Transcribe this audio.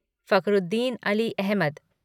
Fakhruddin Ali Ahmad